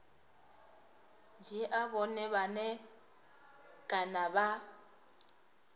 dzhia vhone vhane kana vha